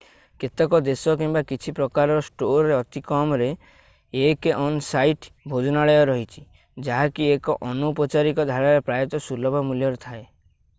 କେତେକ ଦେଶ କିମ୍ବା କିଛି ପ୍ରକାରର ଷ୍ଟୋରରେ ଅତି କମରେ 1 ଅନ-ସାଇଟ୍ ଭୋଜନାଳୟ ଅଛି ଯାହାକି 1 ଅନୌପଚାରିକ ଧାରାରେ ପ୍ରାୟତଃ ସୁଲଭ ମୂଲ୍ୟରେ ଥାଏ